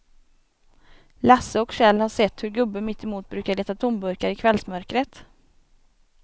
Lasse och Kjell har sett hur gubben mittemot brukar leta tomburkar i kvällsmörkret.